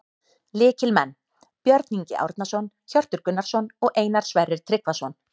Lykilmenn: Björn Ingi Árnason, Hjörtur Gunnarsson og Einar Sverrir Tryggvason